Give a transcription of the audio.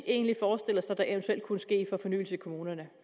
egentlig forestiller sig der eventuelt kunne ske af fornyelse i kommunerne